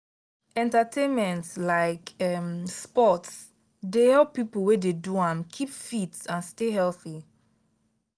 entertainment like um sports dey help people wey dey do am keep fit and stay healthy.